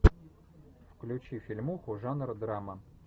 включи фильмуху жанр драма